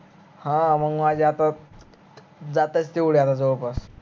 ह आ मग माझे आता जात आहेत तेवढे आता जवळपास